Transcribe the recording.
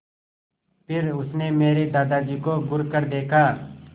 फिर उसने मेरे दादाजी को घूरकर देखा